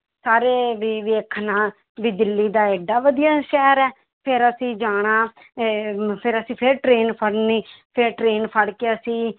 ਸਾਰੇ ਵੀ ਵੇਖਣਾ ਵੀ ਦਿੱਲੀ ਤਾਂ ਏਡਾ ਵਧੀਆ ਸ਼ਹਿਰ ਹੈ ਫਿਰ ਅਸੀਂ ਜਾਣਾ ਇਹ ਫਿਰ ਅਸੀਂ ਫਿਰ train ਫੜਨੀ ਫਿਰ train ਫੜਕੇ ਅਸੀਂ